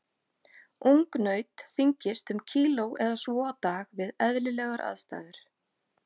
Ungnaut þyngist um kíló eða svo á dag við eðlilegar aðstæður.